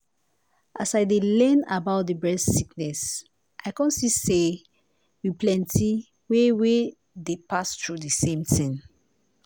as i dey learn about the breast sickness i come see say we plenty wey wey dey pass through di same tin.